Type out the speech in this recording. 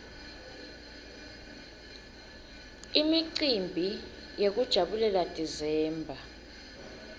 imicimbi yekujabulela desember